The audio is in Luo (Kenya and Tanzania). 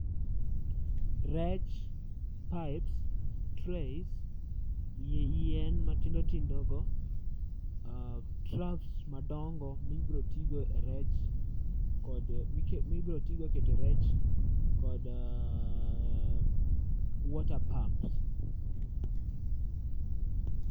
Rech pipes, trays, yien matindo tindo go, ah troughs madongo mibrotigo e rech, kod mibrotigo e keto rech. Kod water pumps.